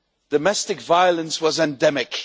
Domestic violence was endemic.